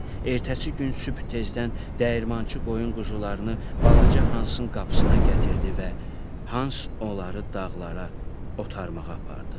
Ertəsi gün sübh tezdən dəyirmançı qoyun quzularını balaca Hansın qapısına gətirdi və Hans onları dağlara otarmağa apardı.